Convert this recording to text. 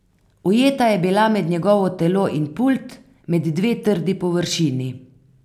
Ujeta je bila med njegovo telo in pult, med dve trdi površini.